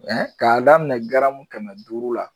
k'a daminɛ garamu kɛmɛ duuru la.